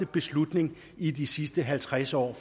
beslutning i de sidste halvtreds år